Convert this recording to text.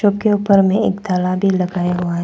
उसके ऊपर में एक ताला भी लगाया हुआ है।